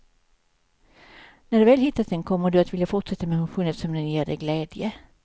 När du väl hittat den kommer du vilja fortsätta med motionen eftersom den ger dig glädje.